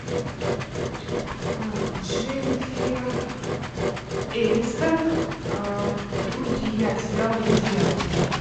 дженнифер энистон друзья сериал друзья